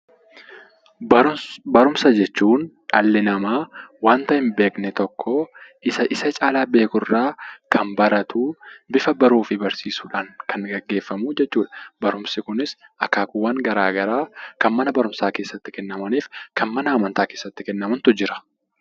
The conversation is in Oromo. Barumsa jechuun dhalli namaa waanta hin beekne tokko isa isa caalaa beekurraa kan baratu, bifa baruu fi barsiisuudhaan kan gaggeeffamu jechuudha. Barumsi kunis akaakuuwwan garaa garaa kan mana barumsaa keessatti kennamaniif kan mana amantaa keessatti kennamantu jira.